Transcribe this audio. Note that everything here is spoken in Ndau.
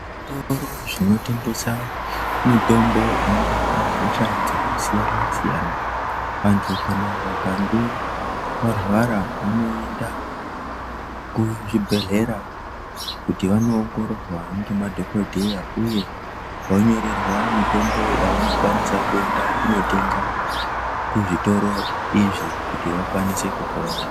Zvitoro zvinotengesa mitombo inorapa hosha dzakasiyana siyana, vantu kana vakange varwara vanoenda kuzvibhedlera kuti vanoongororwa ngemadhokodheya uye vonyorerwa mitombo yavanokwanisa kuenda kunotenga kuzvitoro izvi kuti vakwanise kupona.